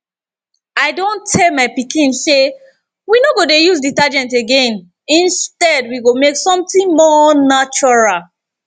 i don tell my pikin say we no go dey use detergent again instead we go make something more natural